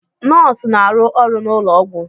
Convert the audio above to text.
Nọọsụ na-arụ ọrụ n'ụlọ ọgwụ.